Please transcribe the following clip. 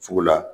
Sugu la